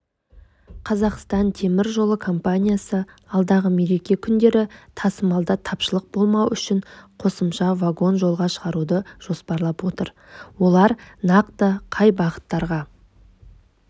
қазақстан темір жолы компаниясы алдағы мереке күндері тасымалда тапшылық болмауы үшін қосымша вагон жолға шығаруды жоспарлап отыр олар нақты қай бағыттарға